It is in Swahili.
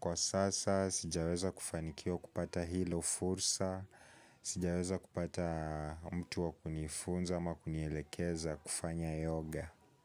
kwa sasa sijaweza kufanikiwa kupata hilo fursa, sijaweza kupata mtu wa kunifunza ama kunielekeza kufanya yoga.